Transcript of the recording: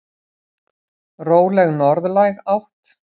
Róleg norðlæg átt